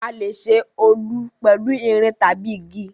A lè ṣe Olù pẹ̀lu irin tabi igi